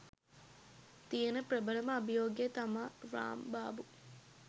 තියෙන ප්‍රභලම අභියෝගය තමා රාම්බාබු.